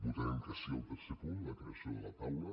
votarem que sí al tercer punt la creació de la taula